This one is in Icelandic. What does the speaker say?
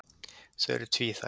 Þau eru tvíþætt.